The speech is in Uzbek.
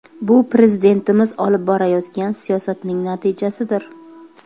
Bu Prezidentimiz olib borayotgan siyosatning natijasidir.